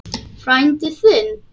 Frændi þinn?